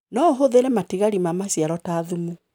Noũhũthĩre matigari ma maciaro ta thumu.